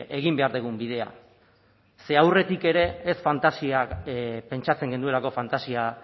egin behar dugun bidea ze aurretik ere ez fantasia pentsatzen genuelako fantasia